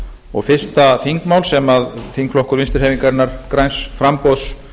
og fyrsta þingmál sem þingflokkur vinstri hreyfingarinnar græns framboðs